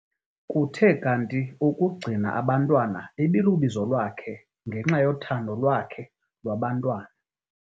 Kuthe kanti ukugcina abantwana ibilubizo lwakhe ngenxa yothando lwakhe lwabantwana.